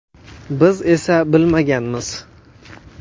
Biz esa bilmaganmiz.